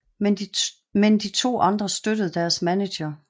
Men de to andre støttede deres manager